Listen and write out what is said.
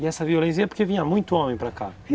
E essa violência é porque vinha muito homem para cá?